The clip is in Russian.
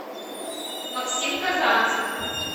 максим казанцев